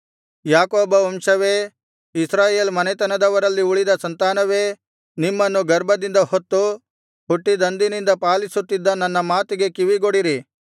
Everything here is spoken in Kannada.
ಯಾಕೋಬವಂಶವೇ ಇಸ್ರಾಯೇಲ್ ಮನೆತೆನದವರಲ್ಲಿ ಉಳಿದ ಸಂತಾನವೇ ನಿಮ್ಮನ್ನು ಗರ್ಭದಿಂದ ಹೊತ್ತು ಹುಟ್ಟಿದಂದಿನಿಂದ ಪಾಲಿಸುತ್ತಿದ್ದ ನನ್ನ ಮಾತಿಗೆ ಕಿವಿಗೊಡಿರಿ